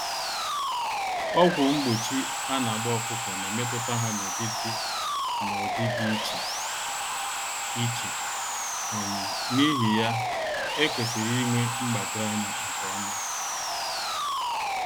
Ọgwụ mgbochi anagba ọkụkọ n'emetụta ha n'ụdị dị n'ụdị dị iche iche, um n'ihi ya, ekwesịrị ịnwe mgbado-anya nke ọma